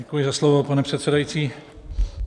Děkuji za slovo, pane předsedající.